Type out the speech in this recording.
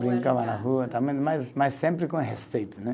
Brincava na rua também, mas mas sempre com respeito, né.